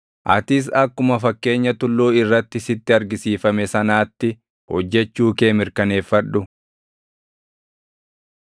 Atis akkuma fakkeenya tulluu irratti sitti argisiifame sanaatti hojjechuu kee mirkaneeffadhu.